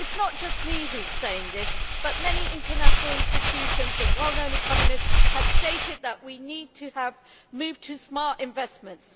It is not just me who is saying this many international institutions and well known economists have stated that we need to move to smart investments.